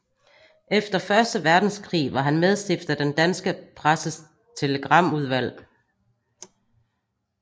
Efter Første Verdenskrig var han medstifter af Den danske Presses Telegramudvalg